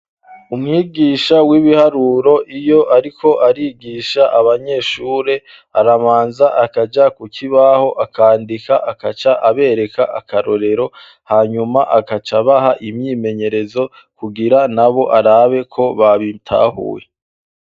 umwigisha w'ibiharuro iyo ariko arigisha abanyeshure aramanza akaja ku kibaho akandika akaca abereka akarorero hanyuma akaca baha imyimenyerezo kugira nabo arabe ko babitahuye